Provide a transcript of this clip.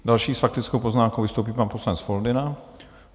Další s faktickou poznámkou vystoupí pan poslanec Foldyna.